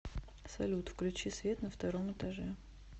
салют включи свет на втором этаже